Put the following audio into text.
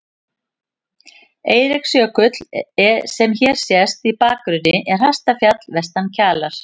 Eiríksjökull, sem hér sést í bakgrunni, er hæsta fjall vestan Kjalar.